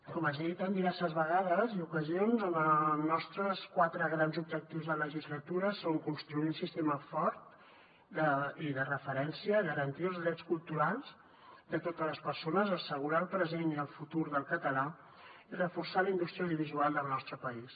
com els he dit en diverses vegades i ocasions els nostres quatre grans objectius de legislatura són construir un sistema fort i de referència garantir els drets culturals de totes les persones assegurar el present i el futur del català i reforçar la indústria audiovisual del nostre país